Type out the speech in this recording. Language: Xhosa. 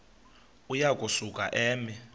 uya kusuka eme